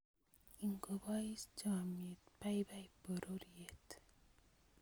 Ngobounis chomyet, baibai pororiet